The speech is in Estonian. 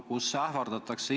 Inimesi ähvardatakse.